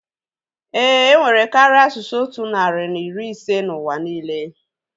Éè, enwere karịa asụsụ otu narị na iri ise n'ụwa niile